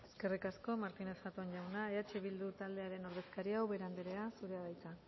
eskerrik asko martínez zatón jauna eh bildu taldearen ordezkaria ubera andrea zurea da hitza